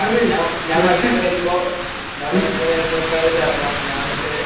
ഞാൻ വൈകുന്നേരം വരുമ്പോ ഞാൻ വൈകുന്നേരം വരുമ്പോ മിക്കവാറും ഇതെറങ്ങും ,ഞാൻ എന്നിട്ട്..